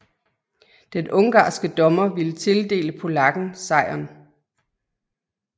Den ungarske dommer ville tildele polakken sejren